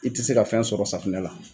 I tɛ se ka fɛn sɔrɔ safinɛ la